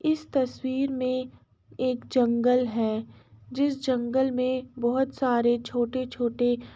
इस तस्वीर मे एक जंगल है । जिस जंगल में बहोत सारे छोटे छोटे --